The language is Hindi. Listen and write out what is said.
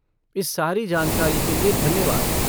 इस सारी जानकारी के लिए धन्यवाद।